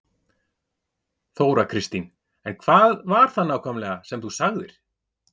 Þóra Kristín: En hvað var það nákvæmlega þá sem þú sagðir?